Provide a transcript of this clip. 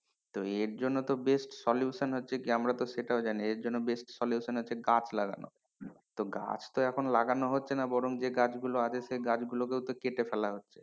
তো এর জন্য তো best solution হচ্ছে কি আমরা তো সেটাও জানি এর জন্য best solution হচ্ছে গাছ লাগানো তো গাছ তো এখন লাগানো হচ্ছে না বরং যে গাছ গুলো আছে সেই গাছগুলো কেউ তো কেটে ফেলা হচ্ছে,